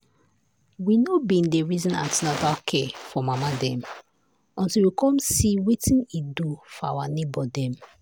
we no been dey reason an ten atal care for mama dem until we come see wetin e do for our neighbor dem.